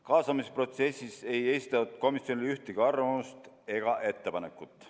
Kaasamisprotsessis ei esitatud komisjonile ühtegi arvamust ega ettepanekut.